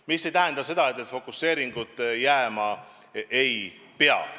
Mis ei tähenda seda, et fokuseeringut jääma ei pea.